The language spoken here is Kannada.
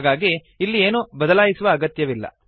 ಹಾಗಾಗಿ ಇಲ್ಲಿ ಏನನ್ನೂ ಬದಲಾಯಿಸುವ ಅಗತ್ಯವಿಲ್ಲ